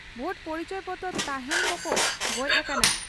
ᱵᱷᱳᱴ ᱯᱚᱨᱤᱪᱚᱭ ᱯᱚᱛᱨᱚ ᱛᱟᱦᱮᱸᱱ ᱠᱚ ᱠᱚ ᱜᱚᱡ ᱟᱠᱟᱱᱟ ᱾